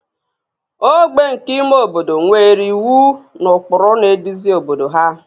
ogbe nke ime obodo nwere iwu na ụkpụrụ na-eduzi obodo ha